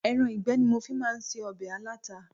Ẹran ìgbẹ́ ni mo fi máa ń se ọbẹ̀ alata.